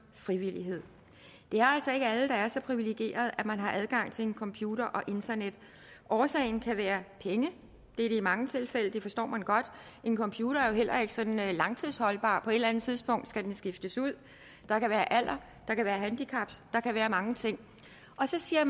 frivillighed det er altså ikke alle der er så privilegerede at man har adgang til en computer og internet årsagen kan være penge det er det i mange tilfælde det forstår man godt en computer er jo heller ikke sådan langtidsholdbar så eller andet tidspunkt skal den skiftes ud der kan være alder der kan være handicaps der kan være mange ting og så siger